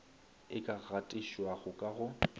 e ka gatišwago ka go